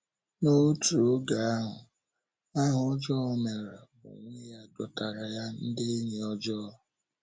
N’otu oge ahụ, aha ọjọọ o meere onwe ya dọtaara ya ndị enyi ọjọọ.